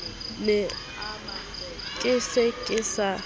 ne ke se ke sa